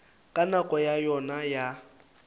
ka nako ya yona ya